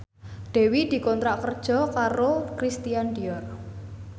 Dewi dikontrak kerja karo Christian Dior